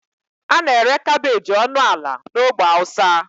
A na-ere kabeji ọnụ ala na ogbe hausa.